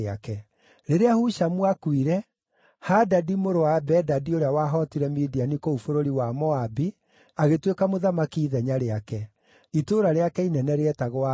Rĩrĩa Hushamu aakuire, Hadadi mũrũ wa Bedadi ũrĩa wahootire Midiani kũu bũrũri wa Moabi, agĩtuĩka mũthamaki ithenya rĩake. Itũũra rĩake inene rĩetagwo Avithu.